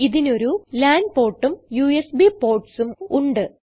ഇതിനൊരു ലാൻ portഉം യുഎസ്ബി portsഉം ഉണ്ട്